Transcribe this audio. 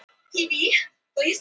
Vísitölur vestanhafs hækka